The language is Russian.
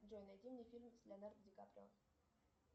джой найди мне фильм с леонардо ди каприо